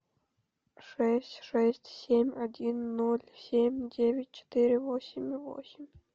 шесть шесть семь один ноль семь девять четыре восемь восемь